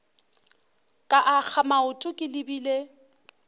ka akga maoto ke lebile